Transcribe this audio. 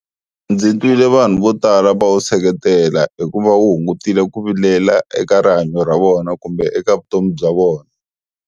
Ndzi twile vanhu vo tala va wu seketela hi ku va wu hungutile ku vilela eka rihanyo ra vona kumbe eka vutomi bya vona.